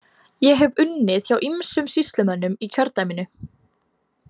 Ég hef unnið hjá ýmsum sýslumönnum í kjördæminu.